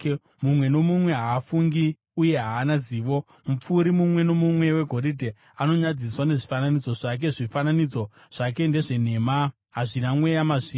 Mumwe nomumwe haafungi uye haana zivo; mupfuri mumwe nomumwe wegoridhe anonyadziswa nezvifananidzo zvake. Zvifananidzo zvake ndezvenhema; hazvina mweya mazviri.